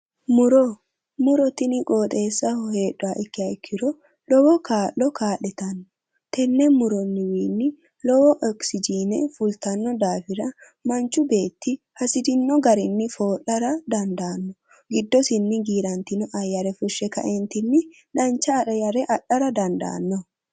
Muro, muro tini qoxeessaho heedhaha ikkiha ikkiro lowo kaa'lo kaa'littano tene murowinni lowo oxyigine fulittano daafira manchu beetti hasirini garinni foo'lara dandaano ,giddosini giiratino ayere fushe kaeentinni dancha adhara dandaano